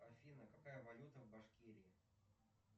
афина какая валюта в башкирии